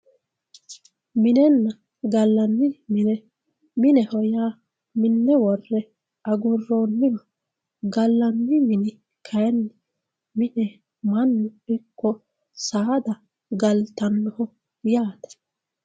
minenna gallanni mine mineho yaa minne wore agurooniho galanni mini kayiinni mine mannu ikko saada galtannoho yaate